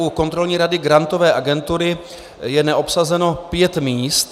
U Kontrolní rady Grantové agentury je neobsazeno pět míst.